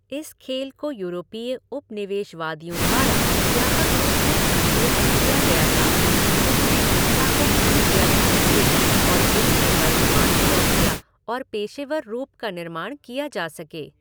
इस खेल को यूरोपीय उपनिवेशवादियों द्वारा व्यापक रूप से संशोधित किया गया था, जिससे हिंसा को कम किया जा सके और इसके वर्तमान शौकिया और पेशेवर रूप का निर्माण किया जा सके।